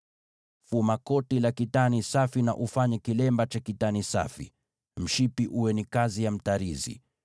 “Fuma koti la kitani safi na ufanye kilemba cha kitani safi. Mshipi uwe ni kazi ya mtarizi.